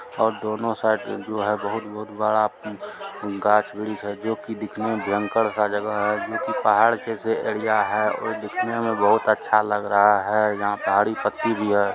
और दोनो साइड जो है बहुत-बहुत बड़ा उम गाच्छ वृक्ष है जो कि दिखने में भयंकर-सा जगह है जो की पहाड़ के सा एरिया हैं और दिखने में बहुत अच्छा लग रहा हैं जहा पे झड़ी पति भी है |